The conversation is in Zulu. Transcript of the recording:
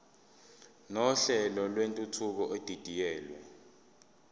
nohlelo lwentuthuko edidiyelwe